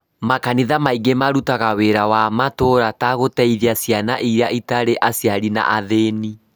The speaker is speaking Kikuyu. Makanitha maingĩ marutaga wĩra wa matũũra ta gũteithia ciana iria itarĩ aciari na athĩni.